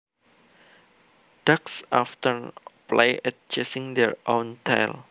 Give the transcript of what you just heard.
Dogs often play at chasing their own tail